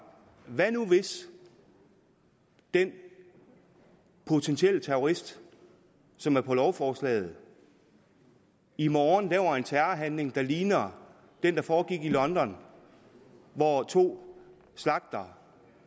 hvad nu hvis den potentielle terrorist som er på lovforslaget i morgen laver en terrorhandling der ligner den der foregik i london hvor to slagtede